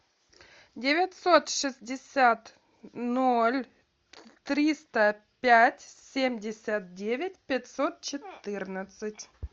девятьсот шестьдесят ноль триста пять семьдесят девять пятьсот четырнадцать